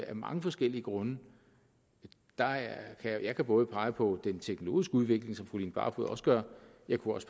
af mange forskellige grunde jeg jeg kan både pege på den teknologiske udvikling som fru line barfod også gør og jeg kunne